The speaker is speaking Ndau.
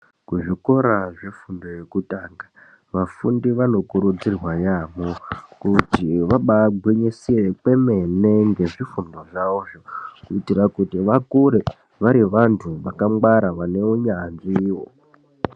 Kuzvikora zvefundo yekutanga, vafundi vanokurudzirwa yaamho kuti vabagwinyisire kwemene ngezvifundo zvavozvo, kuitira kuti vakure vari vantu vakangwara vane hunyanzviwo.